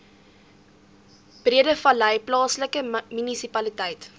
breedevallei plaaslike munisipaliteit